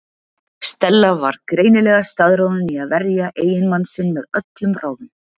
Stella var greinilega staðráðin í að verja eiginmann sinn með öllum ráðum.